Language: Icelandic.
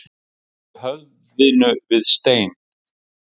Að berja höfðinu við steininn